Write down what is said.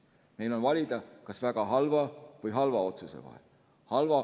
Meil on valida kas väga halva või halva otsuse vahel.